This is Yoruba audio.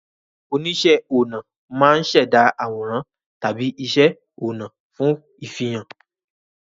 Oníṣẹ́-ọnà máa ń ṣẹ̀dá àwòrán tàbí iṣẹ́ ọnà fún ìfihàn.